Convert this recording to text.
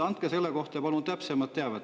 Andke selle kohta palun täpsemat teavet.